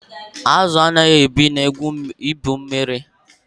Azụ anaghị ebi na ebe igwu mmiri